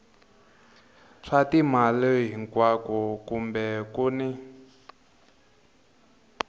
swa timali hinkwako kumbe kun